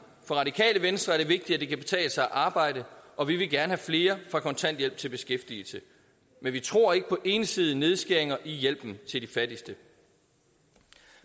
for radikale venstre er det vigtigt at det kan betale sig at arbejde og vi vil gerne have flere fra kontanthjælp til beskæftigelse men vi tror ikke på ensidige nedskæringer i hjælpen til de fattigste